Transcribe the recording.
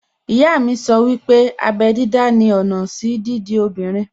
Ìyá mi sọ wípé abẹ́ dídá ni ọ̀nà sí dídi obìnrin